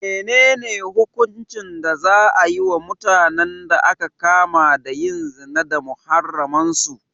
Menene hukuncin da za a yi wa mutanen da aka kama da yin zina da muharraman su?